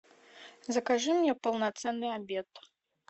закажи мне полноценный обед